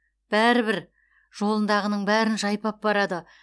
бәрібір жолындағының бәрін жайпап барады